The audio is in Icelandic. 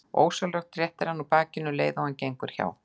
Og ósjálfrátt réttir hann úr bakinu um leið og hann gengur hjá.